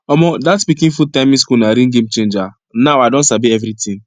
omo that pikin food timing school na real game changer now i don sabi everything